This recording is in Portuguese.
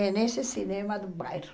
É nesse cinema do bairro.